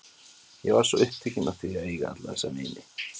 Ég varð svo upptekin af því að eiga alla þessa vini.